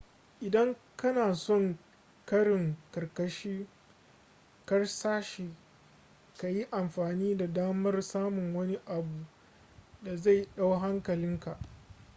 idan kana son karin karsashi ka yi amfani da damar samun wani abu da zai dau hankalinkaa